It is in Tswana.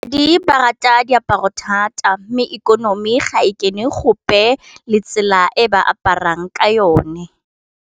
Di ba rata diaparo thata mme ikonomi ga e kene gope le tsela e ba aparang ka yone.